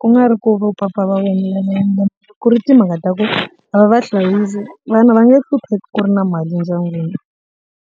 ku nga ri ku vo papa ku ri timhaka ta ku va va hlayisi vana va nge hlupheki ku ri na mali endyangwini.